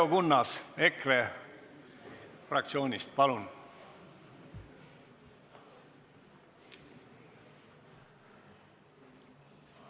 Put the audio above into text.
Leo Kunnas EKRE fraktsioonist, palun!